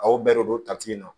Aw bɛɛ de don tati in na